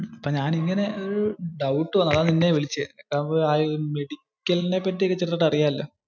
ഞാൻ ഇങ്ങനെ ഒരു doubt വന്നു. അതാ നിന്നെ വിളിച്ചേ. അതാവുമ്പോ മെഡിക്കലിനെ പറ്റി ഒക്കെ ചെറുതായിട്ട് അറിയാല്ലോ.